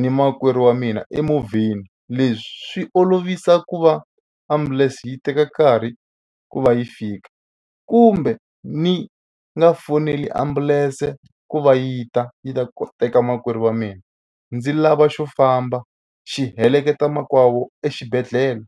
ni makwerhu wa mina emovheni. Leswi swi olovisa ku va ambulense yi teka nkarhi ku va yi fika kumbe ni nga foneli ambulense ku va yi ta yi ta ku teka makwerhu wa mina ndzi lava xo famba xi heleketa makwavo exibedhlele.